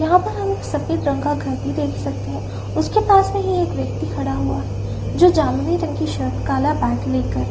यहाँ पर हम एक सफ़ेद रंग का घर भी देख सकते है उसके पास मै ही एक व्यक्ति खड़ा हुआ जो जामुनी रंग की शर्ट काला बैग लेकर --